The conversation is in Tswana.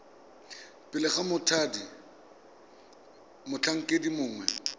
pele ga mothati motlhankedi mongwe